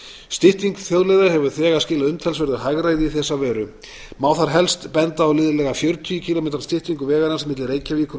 stytting þjóðleiða hefur þegar skilað umtalsverðu hagræði í þessa veru má þar helst benda á liðlega fjörutíu kílómetra styttingu vegarins milli reykjavíkur og